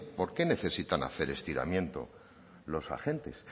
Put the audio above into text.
porqué necesitan hacer estiramiento los agentes